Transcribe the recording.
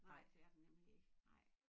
Nej det er der nemlig ikke nej